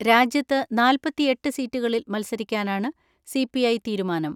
രാജ്യത്ത് നാല്‍പത്തിഎട്ട് സീറ്റുകളിൽ മത്സരിക്കാനാണ് സി പി ഐ തീരുമാനം.